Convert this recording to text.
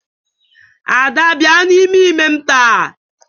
Ada bia n'ime ime m ta.